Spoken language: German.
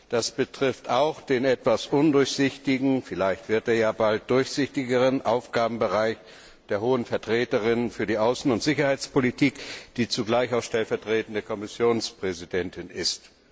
Das betrifft auch den etwas undurchsichtigen vielleicht ja bald doch durchsichtigeren Aufgabenbereich der Hohen Vertreterin für die Außen und Sicherheitspolitik, die zugleich auch stellvertretende Kommissionspräsidentin ist.